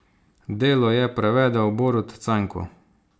Delo je prevedel Borut Cajnko.